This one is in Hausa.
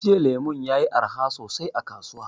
Jiya lemu yayi arha sosai a kasuwa.